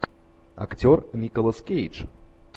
актер николас кейдж